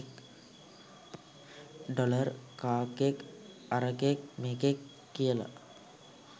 Dollar කාක්කෙක් අරකෙක් මේකෙක් කියල.